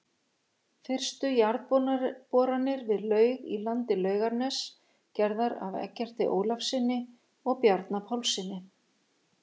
Fyrstu jarðboranir við laug í landi Laugarness, gerðar af Eggerti Ólafssyni og Bjarna Pálssyni.